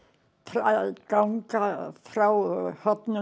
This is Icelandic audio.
að ganga frá